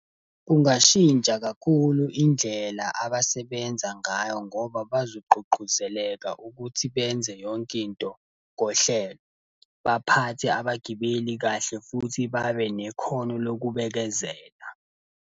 Kungashintsha kakhulu indlela abasebenza ngayo ngoba bazogqugquzeleka ukuthi benze yonke into ngohlelo. Baphathe abagibeli kahle futhi babe nekhono lokubekezela.